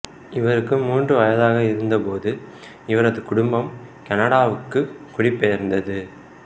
இவருக்கு மூன்று வயதாக இருந்தபோது இவரது குடும்பம் கனடாவுக்கு குடிபெயர்ந்தது